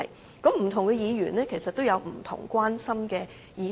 事實上，不同議員有不同關心的議題。